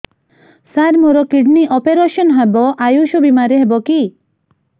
ସାର ମୋର kidney operation ହେବ ଆୟୁଷ ବିମାରେ ହେବ କି